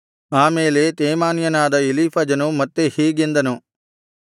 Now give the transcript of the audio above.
ಆ ಮೇಲೆ ತೇಮಾನ್ಯನಾದ ಎಲೀಫಜನು ಮತ್ತೆ ಹೀಗೆಂದನು